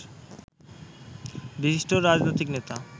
বিশিষ্ট রাজনৈতিক নেতা